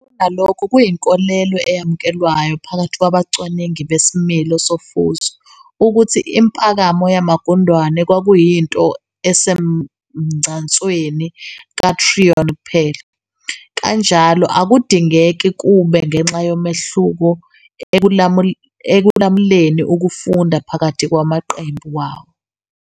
Kunalokho, kuyinkolelo eyamukelwayo phakathi kwabacwaningi besimilo sofuzo ukuthi impakamo yamagundane kwakuyinto esemgcansweni kaTryon kuphela, kanjalo akudingeki kube ngenxa yomehluko ekulamukeni ukufunda phakathi kwamaqembi wawo.